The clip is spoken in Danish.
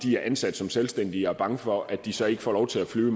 de er ansat som selvstændige og er bange for at de så ikke får lov til at flyve